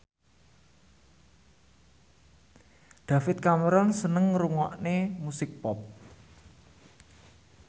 David Cameron seneng ngrungokne musik pop